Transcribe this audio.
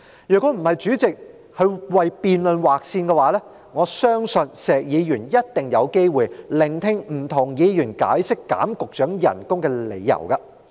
若非主席為辯論時間劃線，我相信石議員一定有機會聆聽不同議員解釋削減局長薪酬的理由。